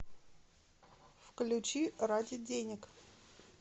включи ради денег